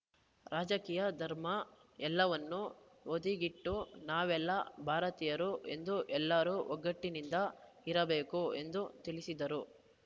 ರಾಜಕೀಯ ಧರ್ಮ ಎಲ್ಲವನ್ನೂ ಬದಿಗಿಟ್ಟು ನಾವೆಲ್ಲಾ ಭಾರತೀಯರು ಎಂದು ಎಲ್ಲರೂ ಒಗ್ಗಟ್ಟಿನಿಂದ ಇರಬೇಕು ಎಂದು ತಿಳಿಸಿದರು